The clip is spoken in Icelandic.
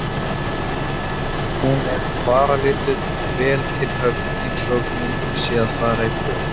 Hún er varalituð og vel til höfð einsog hún sé að fara í boð.